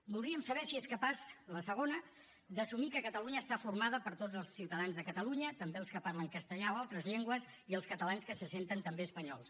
voldríem saber si és capaç la segona d’assumir que catalunya està formada per tots els ciutadans de catalunya també els que parlen castellà o altres llengües i els catalans que se senten també espanyols